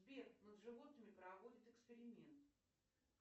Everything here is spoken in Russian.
сбер над животными проводят эксперимент